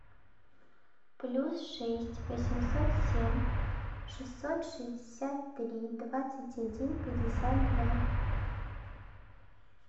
плюс шесть восемьсот семь шестьсот шестьдесят три двадцать один пятьдесят два